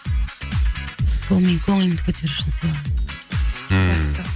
сол менің көңілімді көтеру үшін сыйлаған ммм